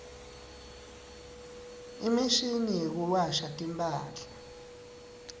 imshini yekuwasha timphahla